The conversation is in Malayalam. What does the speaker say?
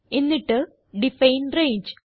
എന്നിട്ട് ഡിഫൈൻ രംഗെ